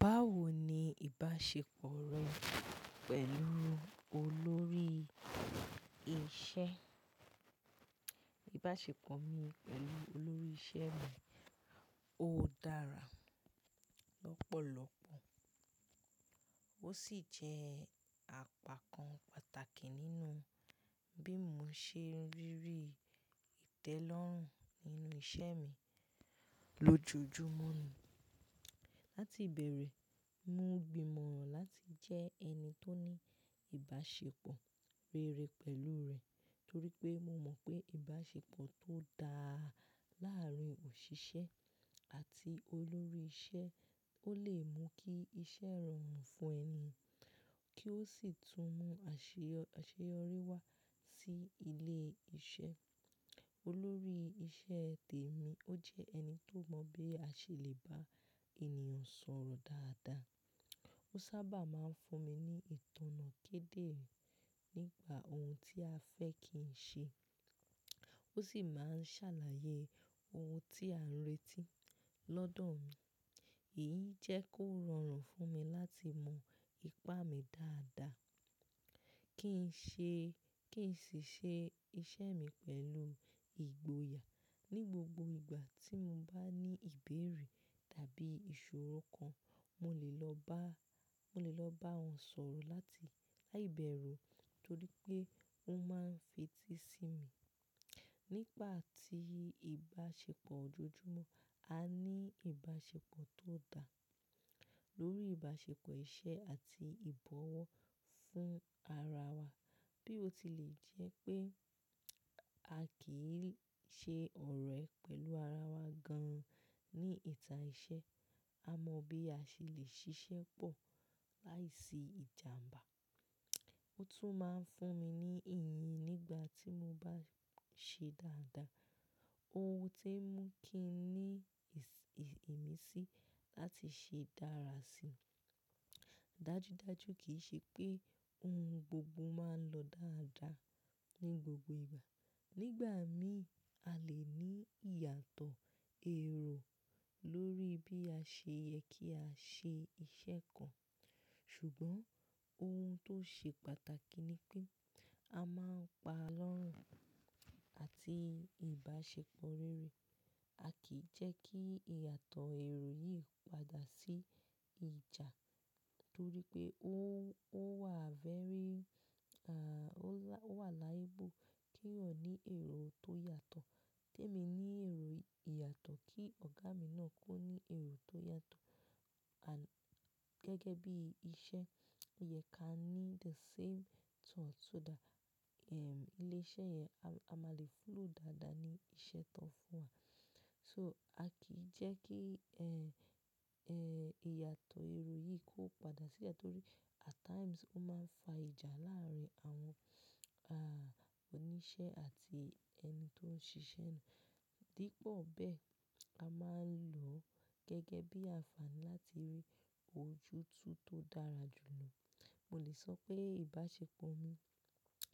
Báwo ni ìbáṣepọ̀ rẹ pẹ̀lú olórí iṣẹ́? Ìbáṣepọ̀ mi pẹ̀lú olórí iṣẹ́ mi ó dára lọ́pọ̀lọpọ̀. Ó sì jẹ́ àpakan pàtàkì nínú bí mo ṣe ń ríri ìtẹ́lọ́rùn nínú iṣẹ́ mi lójoojúmọ́ ni. Láti ìbẹ̀rẹ̀, mo gbimọ̀ láti jẹ́ ẹni tó ní ìbáṣepọ̀ rere pẹ̀lú rẹ̀ torí pé mo mọ̀ pé ìbáṣepọ̀ tó dáa láàárín òṣìṣẹ́ àti olórí iṣẹ́ ó lè mú kí iṣẹ́ rọrùn fún ẹni, kí ó sì tún mú àṣeyọrí wá sí ilé iṣẹ́. Olórí iṣẹ́ tèmi ó jẹ ẹni tó mọ̀ bí a ṣe lè bá ènìyàn sọ̀rọ̀ dáadáa. Ó sábà máa ń fún mi ní ìtọ̀nà kéde nípa ohun tí a fẹ́ kí n ṣe. Ó sì máa ń ṣàlàyé ohun tí à ń retí lọ́dọ̀ mi. Èyí jẹ́ kó rọrùn fún mi láti mọ ipá mi dáadáa kí n ṣe, kí n sì ṣe iṣẹ́ mi pẹ̀lú ìgboyà. Ni gbogbo ìgbà tí mo bá ní ìbéèrè tàbí ìṣòro kan, mo lè lọ bá, mo lè lọ bá won sọ̀rọ̀ láti láìbẹ̀rù torí pé ó máa ń fetí sí mi. Nígbati ìbáṣepọ̀ ojoojúmọ́, a ní ìbáṣepọ̀ tó dà lórí ìbáṣepọ̀ iṣẹ́ àti ìbọ̀wọ̀ fún ara wa. Bí ó tilẹ̀ jẹ́ pé a kì í ṣe ọ̀rẹ́ pẹ̀lú ara wa gan-an ní ìta iṣẹ́, a mọ̀ bí a ṣe lè ṣiṣẹ́ pọ̀ láìsí ìjàǹbá. Ó tún máa ń fún mi ní ìyìn nígbà tí mo bá ṣe dáadáa. Ohun ti mú kí ń ní ìmisí láti ṣe dára si. Dájúdájú kì í ṣe pé ohun gbogbo máa ń lọ dáadáa ní gbogbo ìgbà. Nígbà míì, a lè ní ìyàtọ̀ èrò lórí bí a ṣe yẹ kí a ṣe iṣẹ́ kan. Ṣùgbọ́n ohun tó ṣe pàtàkì ni pé a máa ń pa lọ́rùn àti ìbáṣepọ̀ rere. A kì í jẹ́ kí ìyàtọ̀ èrò yìí padà sí ìjà torí pé ó, ó wà very, à, ó wà liable kí eeyan ní èrò tó yàtọ̀. Kèmi ní èrò ìyàtọ̀ kí Ọ̀gá mi náà kó ní èrò tó yàtọ̀. À-- gẹ́gẹ́ bí iṣẹ́, ò yẹ ká ní the same thought so that, ehm, ilé iṣẹ́ yẹn a máa lè flow dáadáa ní iṣẹ́ tán fún wa. So a kì í jẹ́ kí, ẹ, ẹ, ìyàtọ̀ èrò yìí kó padà sí ẹ̀ torí at times ó máa ń fa ìjà láàárín àwọn, ah, oníṣẹ́ àti ẹni tó ń ṣiṣẹ́ náà. Dípò bẹ́ẹ̀, a máa ń lò ó gẹ́gẹ́ bí ànfààní láti rí ojútùú tó dára jùlọ. Mo lè sọ pé ìbáṣepọ̀ mi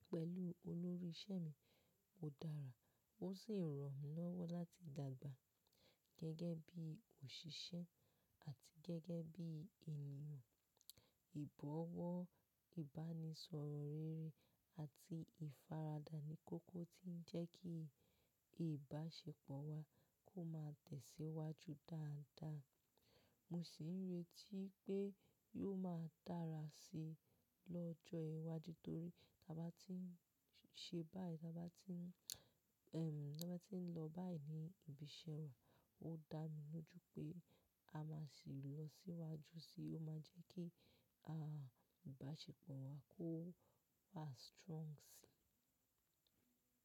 pẹ̀lú olórí iṣẹ́ mi ó dára ó sì ran mi lọ́wọ́ láti dàgbà gẹ́gẹ́ bí òṣìṣẹ́ àti gẹ́gẹ́ bí ènìyàn. Ìbọ̀wọ̀, ìbánisọ̀rọ̀ rere àti ìfaradà ní kókó tí ń jẹ́ kí ìbáṣepọ̀ wa kó máa tẹ̀síwájú dáadáa. Mo sì ń retí pé yóò máa dára si lọ́jọ́ iwájú torí tí a bá tí ń ṣe báyìí, tí a bá tí ń, ehm, tí a bá tí ń lọ báyìí ní ibi iṣẹ́ wa, ó dá mi lojú pé a máa sì lọ síwájú si, ó máa jẹ́ kí, ah, ìbáṣepọ̀ wa kó wà strong si.